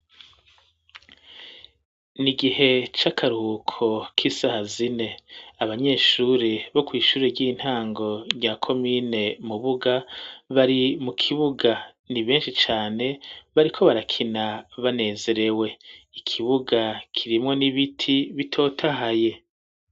N,igihe c'akaruhuko k'isaha zine abanyeshuri bo kw'ishuri ry'intango nya komine Mubuga bari mu kibuga ni beshi cane bariko barakina banezerewe ikibuga kirimwo n'ibiti bitotahaye.